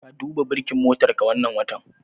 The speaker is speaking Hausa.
Ka duba burkin motarka wannan watan?